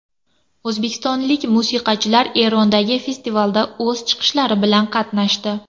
O‘zbekistonlik musiqachilar Erondagi festivalda o‘z chiqishlari bilan qatnashdi.